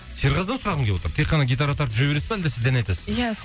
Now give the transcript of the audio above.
серғазыдан сұрағым келіп отыр тек қана гитара тартып жүре бересіз бе әлде сіз де ән айтасыз ба иә